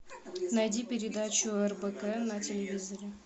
найди передачу рбк на телевизоре